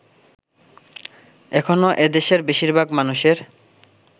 এখনো এদেশের বেশিরভাগ মানুষের